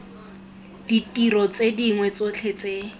ditiro tse dingwe tsotlhe tse